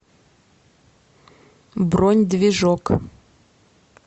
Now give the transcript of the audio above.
бронь движок